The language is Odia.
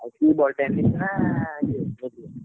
ଆଉ କି ball, Tennis ନା ଇଏ ।